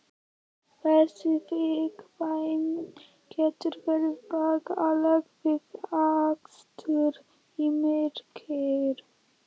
Þessi viðkvæmni getur verið bagaleg við akstur í myrkri.